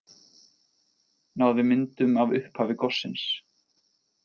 Náði myndum af upphafi gossins